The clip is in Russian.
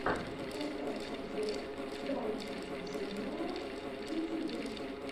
поставь обзор даника джуниора в ютьюбе